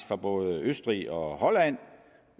fra både østrig og holland